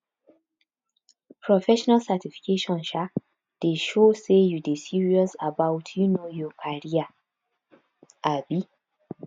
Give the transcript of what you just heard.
professional certification um dey show sey you dey serious about um your career um